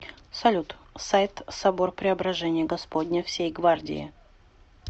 салют сайт собор преображения господня всей гвардии